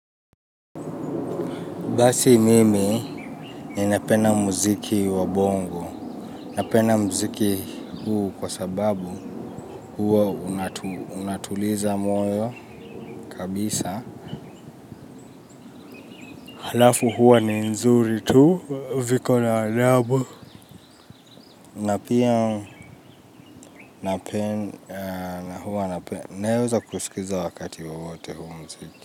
Basi mimi, ni napenda muziki wa bongo. Napenda muziki huu kwa sababu huo unatuliza moyo kabisa. Halafu huwa ni nzuri tu, viko na adabu. Napia napenda huwa nape, naweza kusikiliza wakati wowote huu muziki.